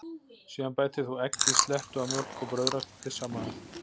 Síðan bætir þú eggi, slettu af mjólk og brauðraspi saman við.